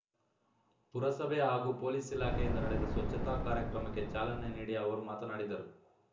ಪುರಸಭೆ ಹಾಗೂ ಪೊಲೀಸ್‌ ಇಲಾಖೆಯಿಂದ ನಡೆದ ಸ್ವಚ್ಛತಾ ಕಾರ್ಯಕ್ರಮಕ್ಕೆ ಚಾಲನೆ ನೀಡಿ ಅವರು ಮಾತನಾಡಿದರು